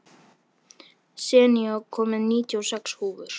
Senía, ég kom með níutíu og sex húfur!